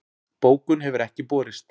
Bókun hefur ekki borist